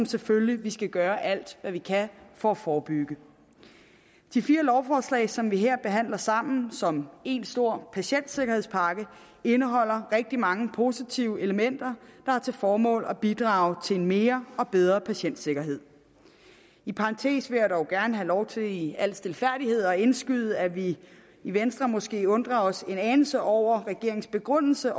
selvfølgelig skal gøre alt hvad vi kan for at forebygge de fire lovforslag som vi her behandler sammen som en stor patientsikkerhedspakke indeholder rigtig mange positive elementer der har til formål at bidrage til mere og bedre patientsikkerhed i parentes vil jeg dog gerne have lov til i al stilfærdighed at indskyde at vi i venstre måske undrer os en anelse over regeringens begrundelse